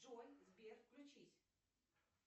джой сбер включись